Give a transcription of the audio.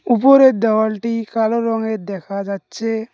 উপরের দেওয়ালটি কালো রঙের দেখা যাচ্ছে।